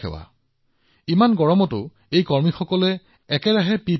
নিজকে সুৰক্ষিত কৰিবলৈ এই সংগীসকলে এনে গৰমতো নিৰন্তৰে পিপিই কিট পিন্ধিবই লাগিব